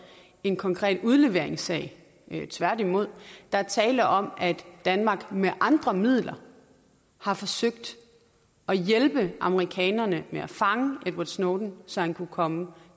en konkret udleveringssag tværtimod der er tale om at danmark med andre midler har forsøgt at hjælpe amerikanerne med at fange edward snowden så han kunne komme